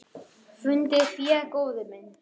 Fundið fé, góði minn.